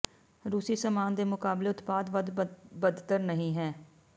ਰੂਸੀ ਸਾਮਾਨ ਦੇ ਮੁਕਾਬਲੇ ਉਤਪਾਦ ਵੱਧ ਬਦਤਰ ਨਹੀ ਹੈ